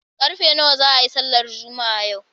Karfe nawa za a yi sallar Juma'a yau?